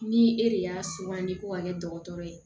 Ni e de y'a sugandi ko ka kɛ dɔgɔtɔrɔ ye